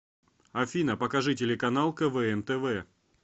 афина покажи телеканал квн тв